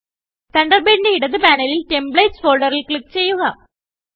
തണ്ടർബേഡിന്റെ ഇടത് പാനലിൽ ടെംപ്ലേറ്റ്സ് ഫോൾഡറിൽ ക്ലിക്ക് ചെയ്യുക